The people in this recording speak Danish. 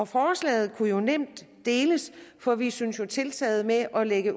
forslaget kunne nemt deles for vi synes jo at tiltaget med at lægge